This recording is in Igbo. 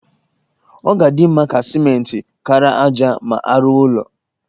Ọ dị mkpa ka simenti kara ájá ma a rụwa ụlọ